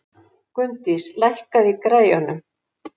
Gunndís, lækkaðu í græjunum.